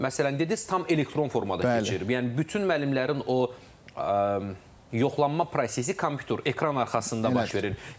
Məsələn, dediz tam elektron formada keçirir, yəni bütün müəllimlərin o yoxlanma prosesi kompüter ekran arxasında baş verir.